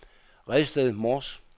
Redsted Mors